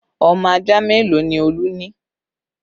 Ọmọ ajá mélòó ni Olú ni